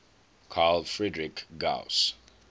carl friedrich gauss